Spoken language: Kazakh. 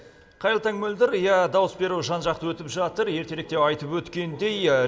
қайырлы таң мөлдір иә дауыс беру жан жақты өтіп жатыр ертеректе айтып өткендей